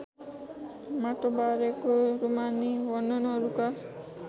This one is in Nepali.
माटोबारेको रूमानी वर्णनहरूका